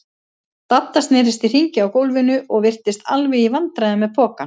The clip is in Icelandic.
Dadda snerist í hringi á gólfinu og virtist alveg í vandræðum með pokann.